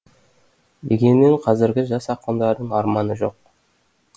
дегенмен қазіргі жас ақындардың арманы жоқ